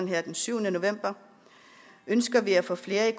her den syvende november ønsker vi at få flere i